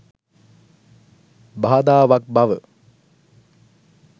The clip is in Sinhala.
බාධාවක් බව